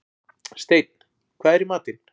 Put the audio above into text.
Steinn, hvað er í matinn?